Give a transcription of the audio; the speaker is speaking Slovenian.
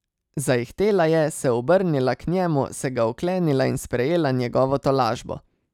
Zaihtela je, se obrnila k njemu, se ga oklenila in sprejela njegovo tolažbo.